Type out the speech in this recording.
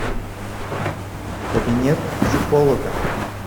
кабинет психолога